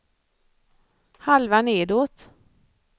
halva nedåt